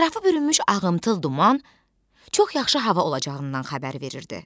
Ətrafı bürünmüş ağımtıl duman çox yaxşı hava olacağından xəbər verirdi.